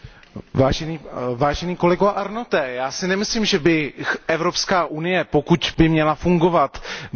Já si nemyslím, že by Evropská unie, pokud by měla fungovat, neměla disponovat finančními prostředky.